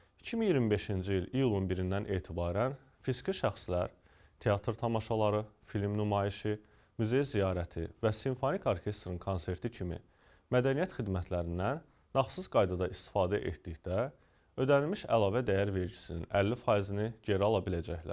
2025-ci il iyulun 1-dən etibarən fiziki şəxslər teatr tamaşaları, film nümayişi, muzey ziyarəti və simfonik orkestrin konserti kimi mədəniyyət xidmətlərindən nağdsız qaydada istifadə etdikdə ödənilmiş əlavə dəyər vergisinin 50 faizini geri ala biləcəklər.